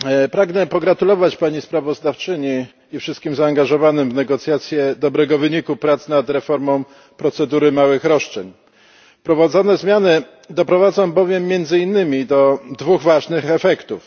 Pragnę pogratulować Pani Sprawozdawczyni i wszystkim zaangażowanym w negocjacje dobrego wyniku prac nad reformą procedury małych roszczeń. Wprowadzone zmiany doprowadzą bowiem między innymi do dwóch ważnych efektów.